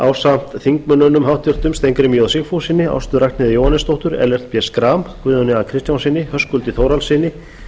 ásamt háttvirtum þingmönnum steingrími j sigfússyni ástu ragnheiði jóhannesdóttur ellert b schram guðjóni a kristjánssyni höskuldi þórhallssyni